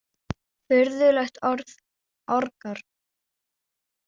Furðulegt orð, orgar.